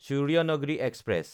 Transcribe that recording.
Suryanagri express